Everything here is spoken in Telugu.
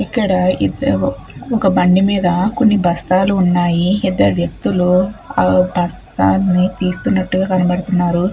ఇక్కడ ఇద్దరూ ఒక బండి మీద కొన్ని బస్తాలు ఉన్నాయి ఇద్దరు వ్యక్తులు ఆ బస్తాన్ని తీస్తున్నట్టుగా కనపడుతూ ఉన్నారు.